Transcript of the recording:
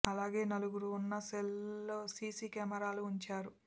అలానే నలుగురు ఉన్న సెల్ లలో సిసి కెమెరాలు ఉంచారు